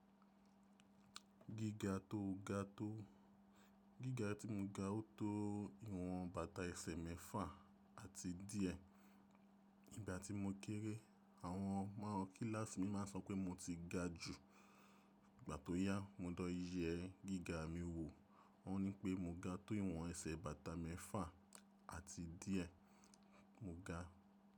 Gíga tí mo ga o tó ìwọ̀n bàtà ẹsẹ̀ mẹ́fà àti díẹ̀. Ìgbà tí mo kéré àwọn ọmọ kíláàsì mi ma sọ pé mo ti ga jù. Ìgbà tó yá mo dọ ìyẹ́ gíga mi wò, wọ́n ní pé mo ga tó ìwọ̀n ẹsẹ̀ bàtà mẹ́fà àti díẹ̀, mo ga.